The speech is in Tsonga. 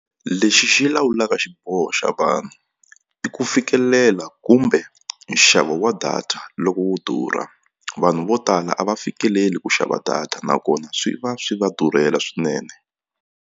Lexi xi lawulaka xiboho xa vanhu i ku fikelela kumbe nxavo wa data loko wo durha vanhu vo tala a va fikeleli ku xava data nakona swi va swi va durhela swinene.